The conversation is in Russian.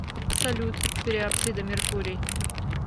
салют периапсида меркурий